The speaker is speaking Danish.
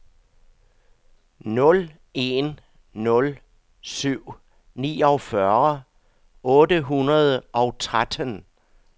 nul en nul syv niogfyrre otte hundrede og tretten